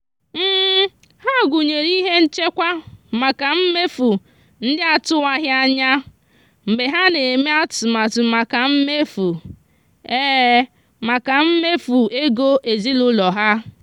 ha gụnyere ihe nchekwa maka mmefu ndị atụwaghị anya mgbe ha na-eme atụmatụ maka mmefu maka mmefu ego ezinụụlọ ha.